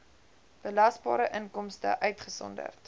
belasbare inkomste uitgesonderd